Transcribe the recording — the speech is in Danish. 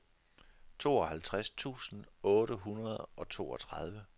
tooghalvtreds tusind otte hundrede og toogtredive